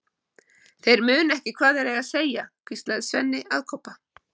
Þeir muna ekki hvað þeir eiga að segja, hvíslaði Svenni að Kobba.